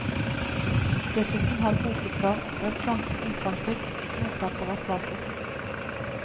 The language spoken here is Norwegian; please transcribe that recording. Dessuten har bokutgaven også et ganske omfangsrikt noteapparat bakerst.